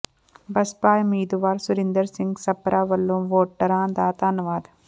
ਬਸਪਾ ਉਮੀਦਵਾਰ ਸੁਰਿੰਦਰ ਸਿੰਘ ਸਪਰਾ ਵੱਲੋਂ ਵੋਟਰਾਂ ਦਾ ਧੰਨਵਾਦ